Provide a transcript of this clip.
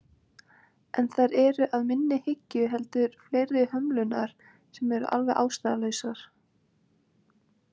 En þær eru að minni hyggju heldur fleiri hömlurnar sem eru alveg ástæðulausar.